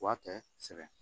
Wa tɛ sɛbɛn